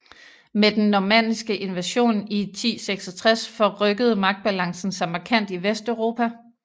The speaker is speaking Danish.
Med den normanniske invasion i 1066 forrykkede magtbalancen sig markant i Vesteuropa